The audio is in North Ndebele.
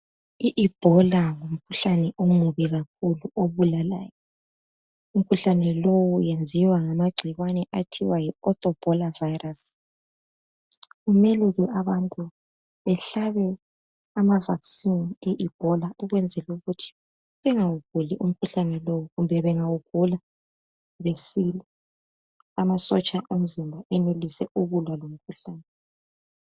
I ibhola ngumkhuhlane omubi kakhulu obulalayo, umkhuhlane lo wenziwa ngamagcikwane athiwa yi authobhola virus. Kumele abantu behlabe ama vaccine e ibhola ukwenzela ukuthi bengawuguli umkhuhlane lowu kumbe bengawugula besile amasotsha omzimba enelise ukulwa lomkhuhlane.